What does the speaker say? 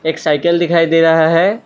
एक साइकिल दिखाई दे रहा है।